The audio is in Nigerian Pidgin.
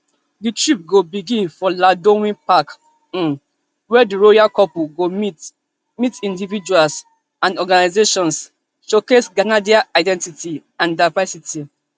di trip go begin for lansdowne park um wia di royal couple go meet meet individuals and organisations showcase canadian identity and diversity